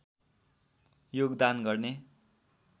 योगदान गर्ने